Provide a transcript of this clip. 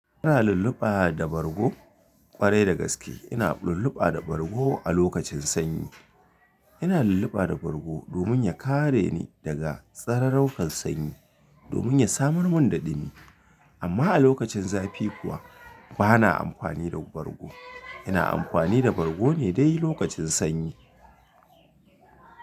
Ina lulluɓa da bargo ƙwarai da gaske. Ina lulluɓa da bargo a lokacin sanyi. Ina lulluɓa da bargo domin ya kare ni daga tsararrukan sanyi domin ya samar mun da dumi. Amma a lokacin zafi kuwa bana amfani da bargo. Ina amfani da bargo ne dai lokacin sanyi.